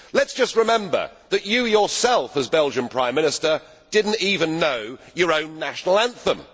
Let us just remember that you yourself, as Belgian Prime Minister, did not even know your own national anthem.